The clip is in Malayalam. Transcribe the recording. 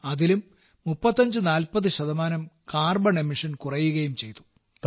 അതിലും 3540 ശതമാനം കാർബൺ പുറന്തള്ളൽ കുറയുകയും ചെയ്തു